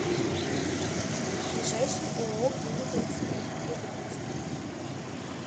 ближайший ооо клиника эксперт иркутск